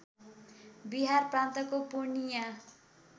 बिहार प्रान्तको पूर्णिया